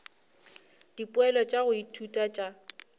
dipoelo tša go ithuta tša